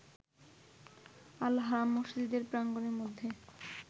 Al-Haram মসজিদ প্রাঙ্গণের মধ্যে